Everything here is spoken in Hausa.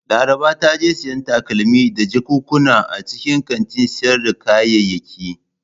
Laraba ta je siyan takalmi da jakunkuna a cikin kantin sayar da kayayyaki.